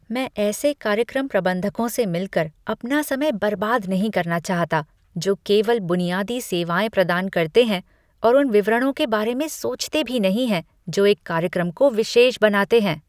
मैं ऐसे कार्यक्रम प्रबंधकों से मिलकर अपना समय बर्बाद नहीं करना चाहता जो केवल बुनियादी सेवाएँ प्रदान करते हैं और उन विवरणों के बारे में सोचते भी नहीं हैं जो एक कार्यक्रम को विशेष बनाते हैं।